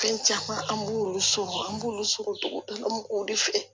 Fɛn caman an b'olu sɔrɔ an b'olu sɔrɔ dugu de fɛ